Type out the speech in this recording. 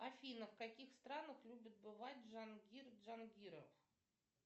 афина в каких странах любит бывать джангир джангиров